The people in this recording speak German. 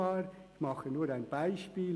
Ich mache nur ein Beispiel.